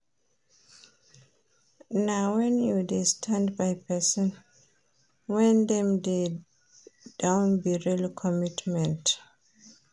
Na wen you dey stand by pesin wen dem dey down be real commitment